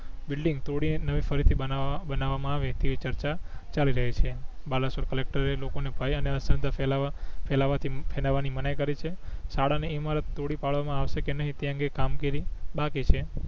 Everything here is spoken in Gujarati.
બિલ્ડિંગ તોડી નવે ફરીથી બનાવા બનાવવામાં અવે તેવી ચર્ચા ચાલી રહી છે બાલસોર કલેકટર એ લોકો ને અફવા અને અંધશ્રદ્ધા ફેલાવા ફેલાવાથી ફેલાવા ની મનાય કરી છે શાળા ની ઇમારત તોડી પડવા માં આવસે કે નહી તે અંગે કામગીરી બાકી છે